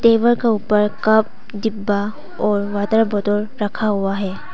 Table के ऊपर cup डिब्बा और वॉटर बॉटल रखा हुआ है।